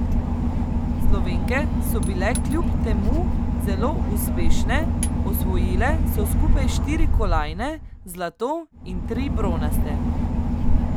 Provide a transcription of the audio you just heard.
Slovenke so bile kljub temu zelo uspešne, osvojile so skupaj štiri kolajne, zlato in tri bronaste.